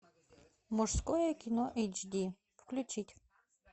мужское кино эйч ди включить